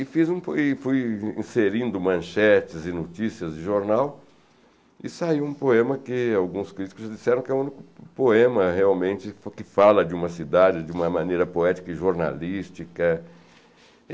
E fiz um e fui inserindo manchetes e notícias de jornal e saiu um poema que alguns críticos disseram que é o único poema realmente que fala de uma cidade, de uma maneira poética e jornalística.